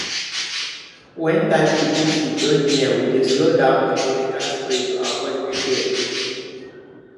when time to pull food don near we dey slow down on chemical spray to avoid gbege